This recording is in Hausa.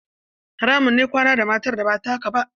Haramun ne kwana da matar da ba taka ba.